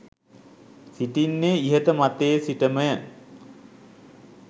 සිටින්නේ ඉහත මතයේ සිට ම ය.